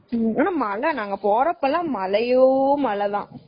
ஆனா நாங்க போறப்ப எல்லாம் மழை, மழையோ மழைதான்.